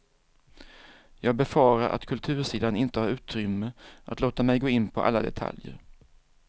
Jag befarar att kultursidan inte har utrymme att låta mig gå in på alla detaljer.